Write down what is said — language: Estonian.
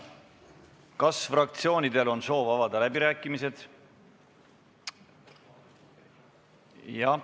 Kas fraktsioonidel on soovi pidada läbirääkimisi?